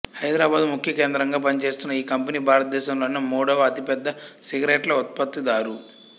హైదరాబాదు ముఖ్యకేంద్రగా పనిచేస్తున్న ఈ కంపెనీ భారతదేశంలోనే మూడవ అతిపెద్ద సిగరెట్ల ఉత్పత్తిదారు